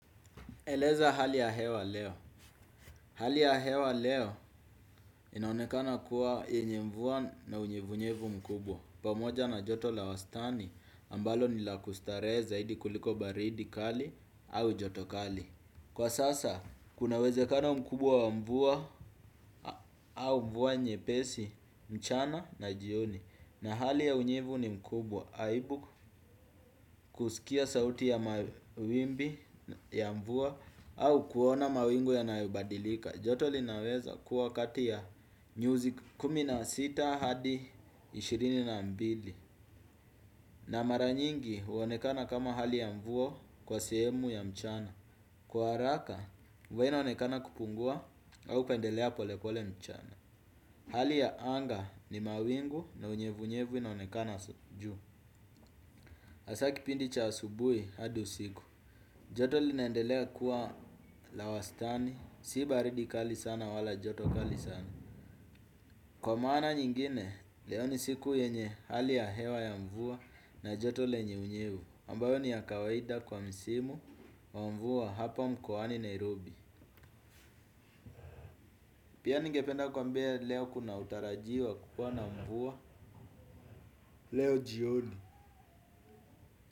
Eleza hali ya hewa leo. Hali ya hewa leo inaonekana kuwa yenye mvua na unyevunyevu mkubwa pamoja na joto la wastani ambalo nila kustarehe zaidi kuliko baridi kali au joto kali. Kwa sasa kuna uwezekano mkubwa wa mvua au mvua nyepesi mchana na jioni. Na hali ya unyevu ni mkubwa aibu kusikia sauti ya mawimbi ya mvua au kuona mawingu yanayobadilika. Joto linaweza kuwa kati ya nyuzi kumi na sita hadi ishirini na mbili. Na maranyingi huonekana kama hali ya mvua kwa sehemu ya mchana. Kwa haraka, mvua inaonekana kupungua au kuendelea pole pole mchana. Hali ya anga ni mawingu na unyevu nyevu inaonekana juu hasaa kipindi cha asubuhi hadi usiku. Joto linaendelea kuwa la wastani, si baridi kali sana wala joto kali sana. Kwa maana nyingine, leo ni siku yenye hali ya hewa ya mvua na joto lenye unyevu ambayo ni ya kawaida kwa msimu wa mvua hapa mkoani Nairobi. Pia ningependa kuambia leo kuna utarajiwa kuwa na mvua. Leo jioni.